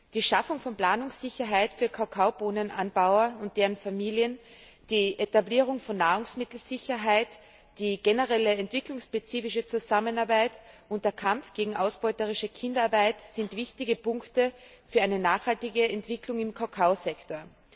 Die Schaffung von Planungssicherheit für Kakaobohnenanbauer und deren Familien, die Etablierung von Nahrungsmittelsicherheit, die generelle entwicklungsspezifische Zusammenarbeit und der Kampf gegen ausbeuterische Kinderarbeit sind wichtige Punkte für eine nachhaltige Entwicklung im Kakaosektor.